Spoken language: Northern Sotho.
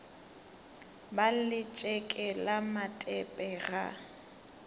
ba letšeke le matepe ga